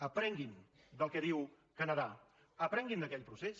aprenguin del que diu canadà aprenguin d’aquell procés